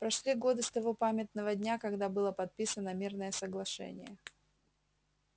прошли годы с того памятного дня когда было подписано мирное соглашение